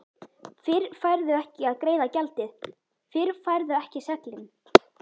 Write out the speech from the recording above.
Fyrr færðu ekki að greiða gjaldið, fyrr færðu ekki seglin.